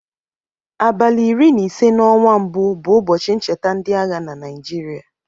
Abalị iri na ise n'ọnwa mbụ bụ ụbọchị ncheta ndịagha na Naijịrịa.